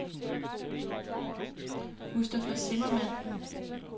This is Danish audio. Mustafa Zimmermann